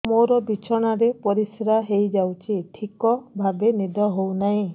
ମୋର ବିଛଣାରେ ପରିସ୍ରା ହେଇଯାଉଛି ଠିକ ଭାବେ ନିଦ ହଉ ନାହିଁ